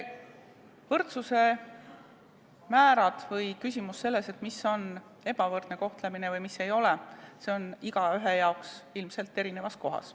Võrdsuse määr või küsimus sellest, mis on ebavõrdne kohtlemine või mis ei ole, on igaühe arvates ilmselt erinev.